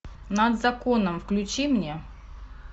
над законом включи мне